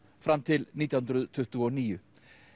fram til nítján hundruð tuttugu og níu